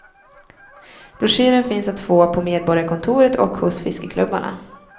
Broschyren finns att få på medborgarkontoret och hos fiskeklubbarna.